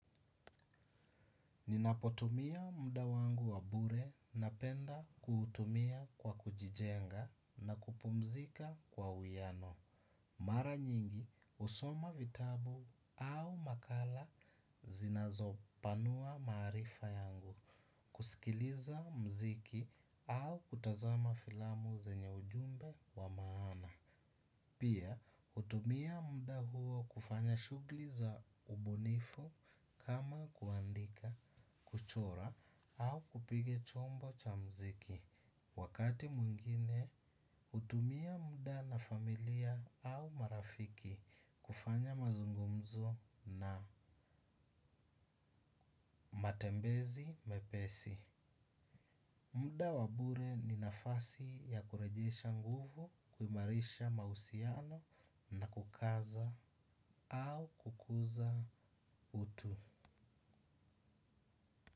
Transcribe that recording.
Ninapotumia muda wangu wa bure napenda kuutumia kwa kujijenga na kupumzika kwa uwiano. Mara nyingi husoma vitabu au makala zinazopanua maarifa yangu. Kusikiliza muziki au kutazama filamu zenye ujumbe wa maana. Pia, hutumia muda huo kufanya shughuli za ubunifu kama kuandika, kuchora au kupiga chombo cha muziki. Wakati mwingine, hutumia muda na familia au marafiki kufanya mazungumzo na matembezi mepesi. Muda wa bure ni nafasi ya kurejesha nguvu, kuimarisha mahusiano na kukaza au kukuza utu.